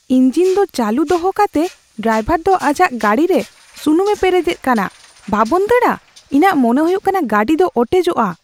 Engine ᱫᱚ ᱪᱟᱞᱩ ᱫᱚᱦᱚ ᱠᱟᱛᱮ ᱰᱨᱟᱭᱵᱷᱟᱨ ᱫᱚ ᱟᱡᱟᱜ ᱜᱟᱹᱰᱤ ᱨᱮ ᱥᱩᱱᱩᱢ ᱮ ᱯᱮᱨᱮᱡᱼᱮᱫ ᱠᱟᱱᱟ ᱾ ᱵᱟᱵᱚᱱ ᱫᱟᱲᱼᱟ ? ᱤᱧᱟᱹᱜ ᱢᱚᱱᱮ ᱦᱩᱭᱩᱜ ᱠᱟᱱᱟ ᱜᱟᱹᱰᱤ ᱫᱚ ᱚᱴᱮᱡᱚᱜᱼᱟ ᱾